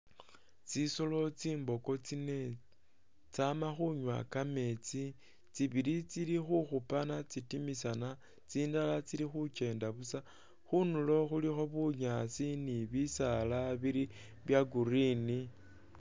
Tsisolo tsimbogo tsine tsama khunywa kametsi tibili tsili khukhupana tsitimisana tsindala tsili khukyenda busa khundulo khulikho bunyaasi ni bisaala bili bya green.